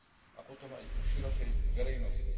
a potom aj u širokej verejnosti.